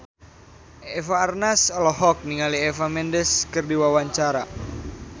Eva Arnaz olohok ningali Eva Mendes keur diwawancara